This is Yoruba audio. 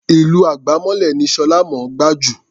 Ìlù àgbámọ́lẹ̀ ni Ṣọlá mọ̀ ọ́n gbá jù.